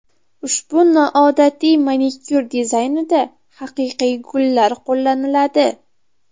Ushbu noodatiy manikyur dizaynida haqiqiy gullar qo‘llaniladi.